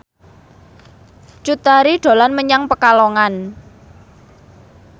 Cut Tari dolan menyang Pekalongan